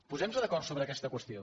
posem·nos d’acord sobre aquesta qüestió